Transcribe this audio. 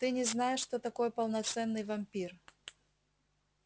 ты не знаешь что такое полноценный вампир